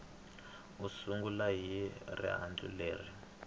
u sungula hi rihlanganisi leri